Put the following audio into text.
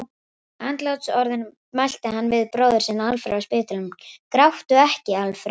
Andlátsorðin mælti hann við bróður sinn Alfreð á spítalanum: Gráttu ekki, Alfreð!